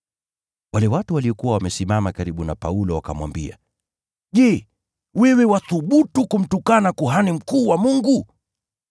Wale watu waliokuwa wamesimama karibu na Paulo wakamwambia, “Je, wewe wathubutu kumtukana kuhani mkuu wa Mungu?”